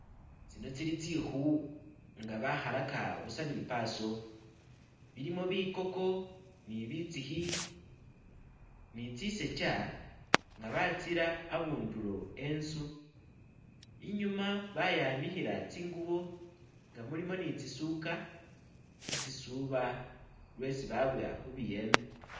Tsino tsili tsikhu nga bakhalaka buusa ni paaso bilimo bikoko nibitsikhi ni tsisokya ngabatsira abundulo e'nzu inyuma bayanikhila tsingubo nga mulimo ni tsisuka khutsisuba lyesi babowa khubiyembe